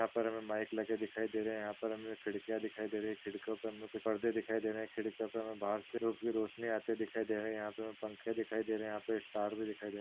यहा पर हमे माइक लगे दिखाई दे रहे है यहा पर हमे खिड़किया दिखाई दे रही खिड़कियों पर हमे कुछ परदे दिखाई दे रहे है खिड़कियों पे हमे बाहर से धुप की रोशनी आते दिखाई दे रही है यहा पे हमे पंखे दिखाई दे रहे है यहाँ पर हमें स्टार भी दिखाई दे रहा।